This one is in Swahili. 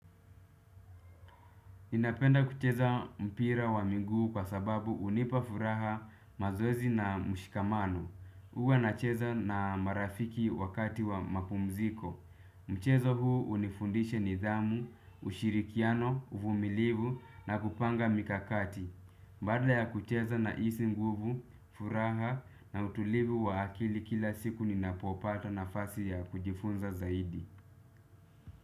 Napenda kucheza mpira wa miguu kwa sababu hunipa furaha, mazoezi na mshikamano. Huwa nacheza na marafiki wakati wa mapumziko. Mchezo huu hunifundisha nidhamu, ushirikiano, uvumilivu na kupanga mikakati. Baada ya kucheza nahisi nguvu, furaha na utulivu wa akili kila siku ninapopata nafasi ya kujifunza zaidi.